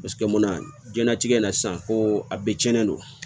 Paseke munna diɲɛlatigɛ na sisan ko a bɛɛ tiɲɛnen don